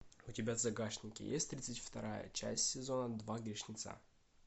у тебя в загашнике есть тридцать вторая часть сезон два грешница